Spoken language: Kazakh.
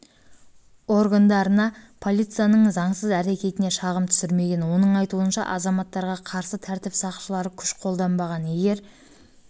органдарына полицияның заңсыз әрекетіне шағым түсірмеген оның айтуынша азаматтарға қарсы тәртіп сақшылары күш қолданбаған егер